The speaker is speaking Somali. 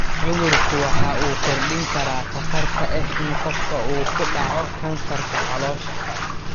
Cudurku waxa uu kordhin karaa khatarta ah in qofka uu ku dhaco kansarka caloosha.